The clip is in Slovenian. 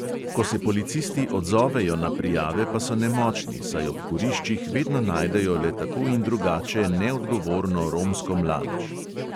Ko se policisti odzovejo na prijave, pa so nemočni, saj ob kuriščih vedno najdejo le tako in drugače neodgovorno romsko mladež.